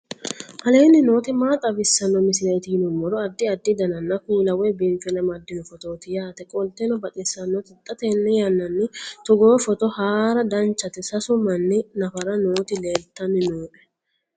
aleenni nooti maa xawisanno misileeti yinummoro addi addi dananna kuula woy biinfille amaddino footooti yaate qoltenno baxissannote xa tenne yannanni togoo footo haara danchate sasu manni nafara nooti leeltanni noe